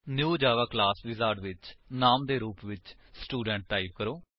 new Java class wizard ਵਿੱਚ ਨਾਮ ਦੇ ਰੁਪ ਵਿੱਚ ਸਟੂਡੈਂਟ ਟਾਈਪ ਕਰੋ